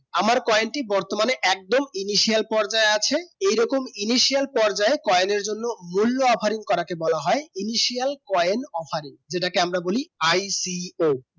আমার coin টি বতর্মানে একদম Initial পর্বে আছে এই রকম Initial পর্বে coin এই জন্য মূল অফারই কে বলা হয় Initial coin offering যেটাকে আমরা বলি ICO